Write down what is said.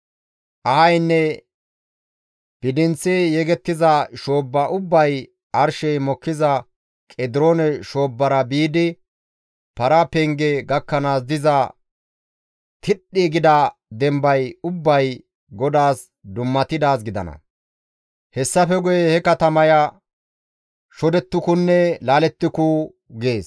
Ahaynne bidinththi yegettiza shoobba ubbay arshey mokkiza Qediroone shoobbara biidi Para Penge gakkanaas diza tidhdhi gida dembay ubbay GODAAS dummatidaaz gidana; hessafe guye he katamaya shodettukunne laalettuku» gees.